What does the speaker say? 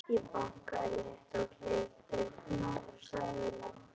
Ég bankaði létt á klefadyrnar og sagði lágt